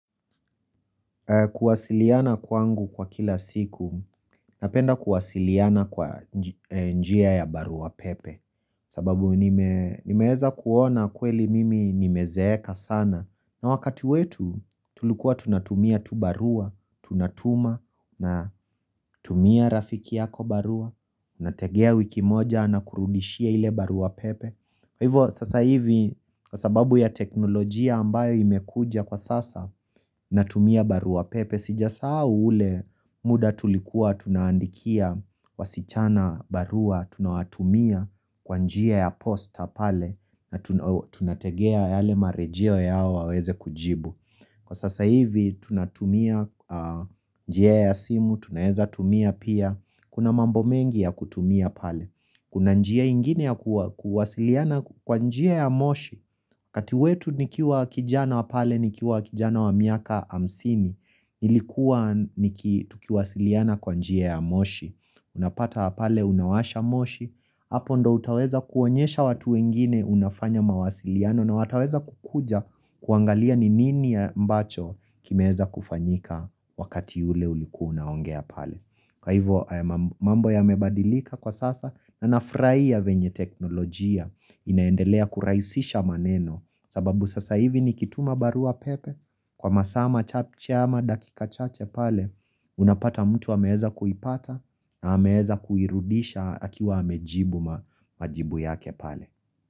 Kuwasiliana kwangu kwa kila siku napenda kuwasiliana kwa njia ya barua pepe sababu nimeweza kuona kweli mimi nimezeeka sana na wakati wetu tulikuwa tunatumia tu barua tunatuma na tumia rafiki yako barua, nategea wiki moja anakurudishia ile barua pepe. Kwa hivyo sasa hivi kwa sababu ya teknolojia ambayo imekuja kwa sasa natumia barua pepe. Sijasahau ule muda tulikuwa tunaandikia wasichana barua tunawatumia kwa njia ya posta pale na tunategea yale marejeo yao waweze kujibu Kwa sasa hivi tunatumia njia ya simu, tunaweza tumia pia. Kuna mambo mengi ya kutumia pale. Kuna njia ingine ya kuwasiliana kwa njia ya moshi kati wetu nikiwa kijana wa pale nikiwa kijana wa miaka hamsini, nilikuwa tukiwasiliana kwa njia ya moshi Unapata pale unawasha moshi. Hapo ndipo utaweza kuonyesha watu wengine unafanya mawasiliano na wataweza kukuja kuangalia ni nini ambacho kimeweza kufanyika wakati ule ulikuwa naongea pale. Kwa hivyo mambo yamebadilika kwa sasa na nafurahia vyenye teknolojia inaendelea kurahisisha maneno, sababu sasa hivi nikituma barua pepe kwa masaa machache ama dakika chache pale Unapata mtu ameweza kuipata na ameweza kuirudisha akiwa amejibu majibu yake pale.